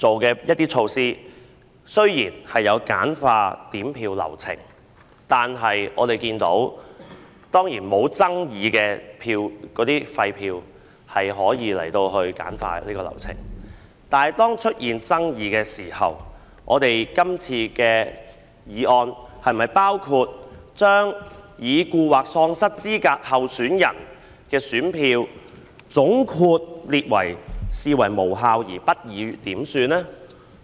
整體而言，今次制訂的措施有助簡化點票流程，投票沒有爭議時，流程當然可以簡化，但是當出現爭議時，今次的修訂是否將已故或喪失資格候選人的選票總括列為無效而不予點算呢？